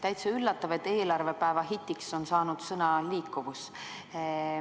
Täitsa üllatav, et eelarvepäeva hitiks on saanud sõna "liikuvus".